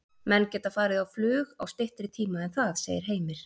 Menn geta farið á flug á styttri tíma en það, segir Heimir.